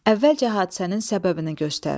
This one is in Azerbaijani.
Əvvəlcə hadisənin səbəbini göstər.